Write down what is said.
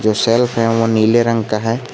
जो सेल्फ हैं वो नीले रंग का है।